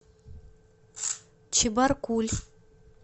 чебаркуль